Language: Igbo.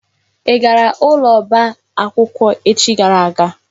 Ị gara ụlọ ọba akwụkwọ echi gara aga?